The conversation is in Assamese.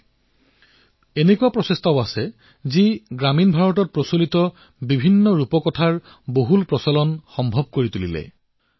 বহু এনে প্ৰয়াসো আছে যি গ্ৰামীণ ভাৰতৰ কাহিনীসমূহৰ প্ৰচলন কৰিছে